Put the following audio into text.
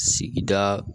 Sigida